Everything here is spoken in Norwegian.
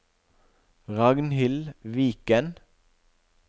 Ragnhild Viken